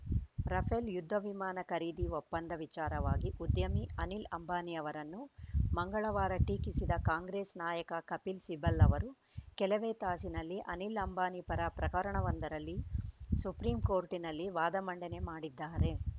Rafale ಯುದ್ಧ ವಿಮಾನ ಖರೀದಿ ಒಪ್ಪಂದ ವಿಚಾರವಾಗಿ ಉದ್ಯಮಿ ಅನಿಲ್‌ ಅಂಬಾನಿ ಅವರನ್ನು ಮಂಗಳವಾರ ಟೀಕಿಸಿದ ಕಾಂಗ್ರೆಸ್‌ ನಾಯಕ ಕಪಿಲ್‌ ಸಿಬಲ್‌ ಅವರು ಕೆಲವೇ ತಾಸಿನಲ್ಲಿ ಅನಿಲ್‌ ಅಂಬಾನಿ ಪರ ಪ್ರಕರಣವೊಂದರಲ್ಲಿ ಸುಪ್ರೀಂಕೋರ್ಟಿನಲ್ಲಿ ವಾದ ಮಂಡನೆ ಮಾಡಿದ್ದಾರೆ